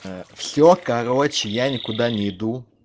все короче я никуда не иду